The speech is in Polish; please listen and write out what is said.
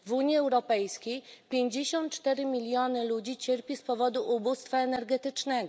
W Unii Europejskiej pięćdziesiąt cztery miliony ludzi cierpi z powodu ubóstwa energetycznego.